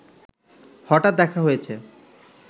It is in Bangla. হঠাৎ দেখা হয়েছে